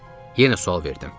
Yenə sual verdim.